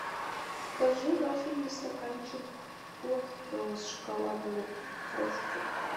закажи вафельный стаканчик гост с шоколадной крошкой